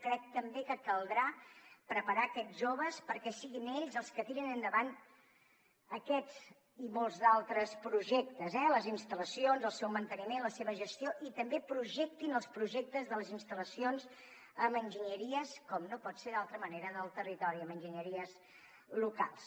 crec també que caldrà preparar aquests joves perquè siguin ells els que tirin endavant aquests i molts d’altres projectes eh les instal·lacions el seu manteniment la seva gestió i també projectin els projectes de les instal·lacions amb enginyeries com no pot ser d’altra manera del territori amb enginyeries locals